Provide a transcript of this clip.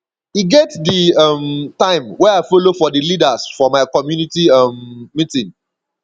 e get di um time wey i folo for di leaders for my community um meeting